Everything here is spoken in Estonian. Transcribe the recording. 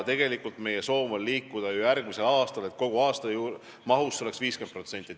Tegelikult on meie soov liikuda järgmisel aastal edasi, et kogumahust oleks see 50%.